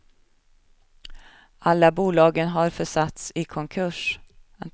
Alla bolagen har försatts i konkurs.